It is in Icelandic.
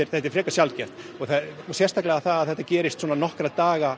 þetta er frekar sjaldgæft og sérstaklega að það gerist nokkra daga